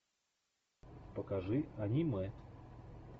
покажи аниме